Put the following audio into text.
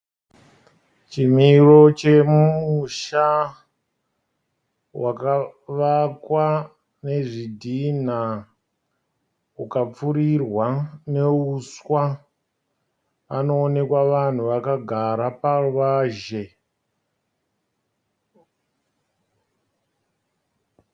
Chimiro chemusha wakavakwa nezvidhinha ukapfuurirwa neuswa. Panooneka vanhu vakagara paruwazhe.